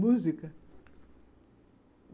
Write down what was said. Música?